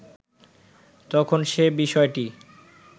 তখন সে বিষয়টি